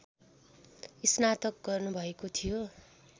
स्नातक गर्नुभएको थियो